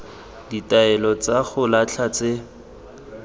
ditaelo tsa go latlha tse